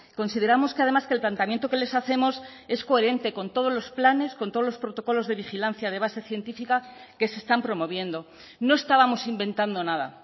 consideramos que además que el planteamiento que les hacemos es coherente con todos los planes con todos los protocolos de vigilancia de base científica que se están promoviendo no estábamos inventando nada